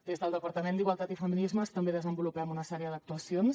des del departament d’igualtat i feminismes també desenvolupem una sèrie d’actuacions